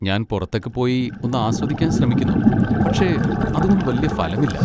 ഞാൻ പുറത്തൊക്കെപ്പോയി ഒന്നാസ്വദിക്കാൻ ശ്രമിക്കുന്നു, പക്ഷേ അതുകൊണ്ട് വല്യ ഫലമില്ല.